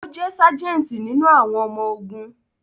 O je sajenti nínú àwọn ọmọ ogún